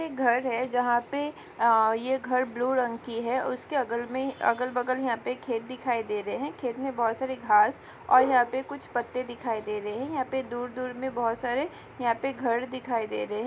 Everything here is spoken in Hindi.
एक घर है जहाँ पे आ ये घर ब्लू रंग की है उसके अगल में अगल-बगल यहाँ पे खेत दिखाई दे रहे है खेत में बहोत सारी घास और यहाँ पे कुछ पत्ते दिखाई दे रहे है यहाँ पे दूर-दूर में बहोत सारे यहाँ पे घर दिखाई दे रहे है।